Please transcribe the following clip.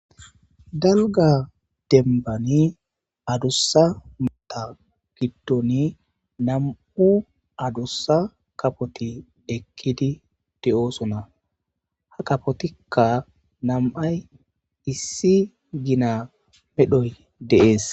Daluga dembani adussa mota giddon nam'u adussa kapoti ekkidi de'oosona ha kapotikka nam'ay issi gina medhoy deees